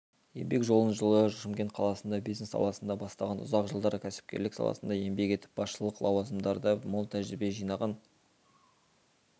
еңбек жолын жылы шымкент қаласында бизнес саласында бастаған ұзақ жылдар кәсіпкерлік саласында еңбек етіп басшылық лауазымдарда мол тәжірибе жинаған